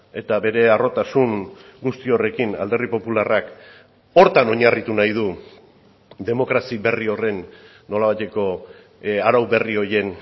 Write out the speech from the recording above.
eta bere harrotasun guzti horrekin alderdi popularrak horretan oinarritu nahi du demokrazia berri horren nolabaiteko arau berri horien